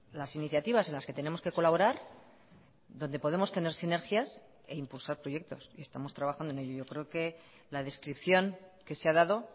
las iniciativas en las que tenemos que colaborar donde podemos tener sinergias e impulsar proyectos y estamos trabajando en ello yo creo que la descripción que se ha dado